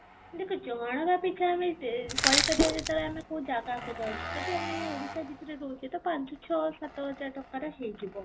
ଦେଖ ଜଣକ ପିଛା ଆମେ କହିପାରିବା ଯେତେବେଳେ ଆମେ କୋଉ ଜାଗାକୁ ଯାଉଛେ ଯଦି ଆମେ ଓଡ଼ିଶା ଭିତରେ ରହୁଛେ ତ ପାଞ୍ଚ, ଛଅ, ସାତ ହଜାର ଟଙ୍କାରେ ହେଇଯିବ